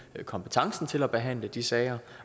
har kompetencen til at behandle de sager